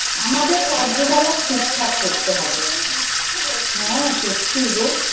আমাদের কার্য কলাপ ঠিক ঠাক করতে হবে। হ্যাঁ সত্যি গো